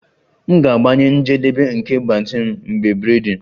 M ga-agbanye njedebe nke mgbatị m mgbe braiding